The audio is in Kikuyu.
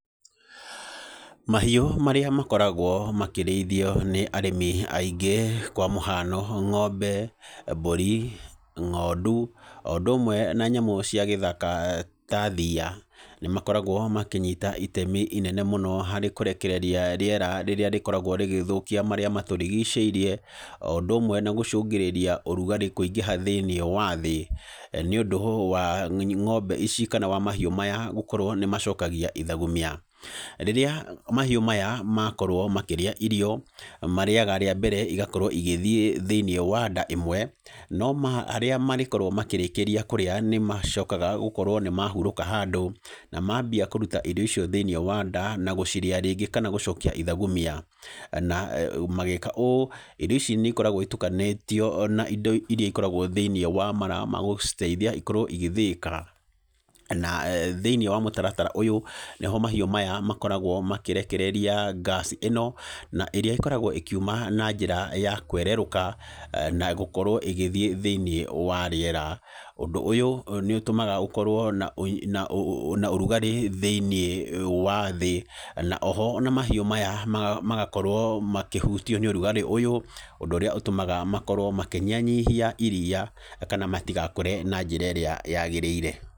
Mahiũ marĩa makoragwo makĩrĩithio nĩ arĩmi aingĩ kwa mũhano ng’ombe, mbũri, ng’ondu, o ũndũ ũmwe na nyamũ cia gĩthaka ta thiia, nĩ makoragwo makĩnyita itemi ĩnene mũno harĩ kũrekereria rĩera rĩrĩa rĩkoragwo rĩgĩthũkia marĩa matũrigicĩirie, o ũndũ ũmwe na gũcũngĩrĩria ũrugarĩ kũingĩha thĩiniĩ wa thĩĩ nĩ ũndũ wa ng’ombe ici, kana wa mahiũ maya gũkorwo nĩ macokagia ithagumia. Rĩrĩa mahiũ maya makorwo makĩrĩa irio marĩaga rĩa mbere igakorwo igĩthiĩ thĩiniĩ wa nda ĩmwe, no harĩa marĩkorwo makĩrĩkĩria kũrĩa nĩ macokaga gũkorwo nĩ mahurũka handũ na mambia kũruta irio icio thĩiniĩ wa nda na gũcirĩa rĩngĩ, kana gũcokia ithagumia. Na magĩĩka ũũ irio ici nĩ ikoragwo itukanĩtio na indo iria ikoragwo thĩiniĩ wa mara ma gũciteithia ikorwo igĩthĩĩka. Na thĩiniĩ wa mũtaratara ũyũ nĩho mahiũ maya makoragwo makĩrekereria gas ĩno, na ĩrĩa ĩkoragwo ĩkiuma na njĩra ya kwererũka, na gũkorwo ĩgĩthiĩ thĩiniĩ wa rĩera. Ũndũ ũyũ nĩ ũtũmaga gũkorwo na ũrugarĩ thĩiniĩ wa thĩĩ. Na oho ona mahiũ maya magakorwo makĩhũtio nĩ ũrugarĩ ũyũ. Ũndũ ũrĩa ũtũmaga makorwo makĩnyihanyihia iriia, kana matigakũre na njĩra ĩrĩa yagĩrĩire.